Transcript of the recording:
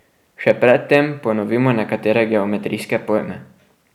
Še pred tem ponovimo nekatere geometrijske pojme.